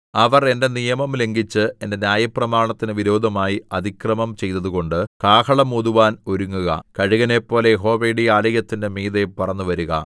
അവർ എന്റെ നിയമം ലംഘിച്ച് എന്റെ ന്യായപ്രമാണത്തിന് വിരോധമായി അതിക്രമം ചെയ്തതുകൊണ്ട് കാഹളം ഊതുവാൻ ഒരുങ്ങുക കഴുകനെപ്പോലെ യഹോവയുടെ ആലയത്തിന്റെ മീതെ പറന്നുവരുക